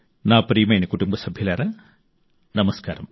నా ప్రియమైన కుటుంబసభ్యులారా నమస్కారం